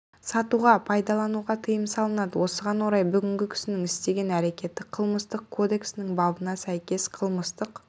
сатуға пайдалануға тыйым салынады осыған орай бүгінгі кісінің істеген әрекеті қылмыстық кодексінің бабына сәйкес қылмыстық